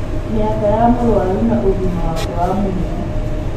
Mĩaka ya mũrũaru na ũgima wake wa mwĩrĩ.